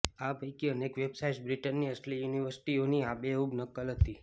આ પૈકી અનેક વેબસાઇટ્સ બ્રિટનની અસલી યુનિવર્સિટીઓની આબેહૂબ નકલ હતી